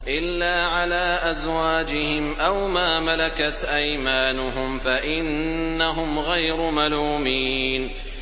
إِلَّا عَلَىٰ أَزْوَاجِهِمْ أَوْ مَا مَلَكَتْ أَيْمَانُهُمْ فَإِنَّهُمْ غَيْرُ مَلُومِينَ